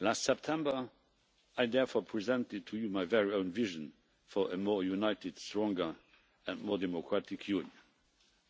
Last September, I therefore presented to you my very own vision for a more united, stronger and more democratic Union